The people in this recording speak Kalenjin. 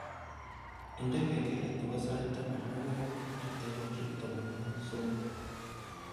Indene kengelet nebo sait taman ak aeng ak takikaishek tamanwogik somok